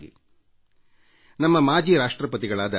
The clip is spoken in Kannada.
ನಮ್ಮ ಮುಂದೆ ಸ್ಫೂರ್ತಿದಾಯಕವಾಗಿ ಮಾಜಿ ರಾಷ್ಟ್ರಪತಿಗಳಾದ ಡಾ